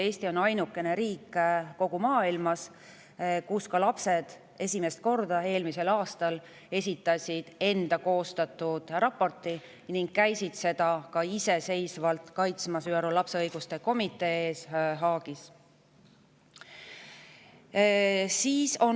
Eesti on ainuke riik kogu maailmas, kus lapsed esitasid eelmisel aastal esimest korda enda koostatud raporti ning käisid seda iseseisvalt ÜRO lapse õiguste komitee ees Haagis kaitsmas.